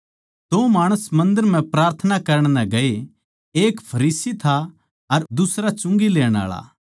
दो माणस मन्दर म्ह प्रार्थना करण नै गए एक फरीसी था अर दुसरा चुंगी लेण आळा